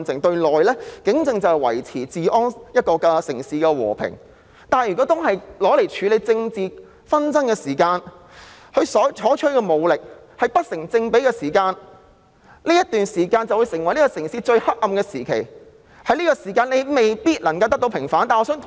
對內，警政是維持治安、維持城市的和平，但如果用作處理政治紛爭，而所採取的武力不成正比，這段時間就會成為城市最黑暗的時期，而且未必可以得到平反。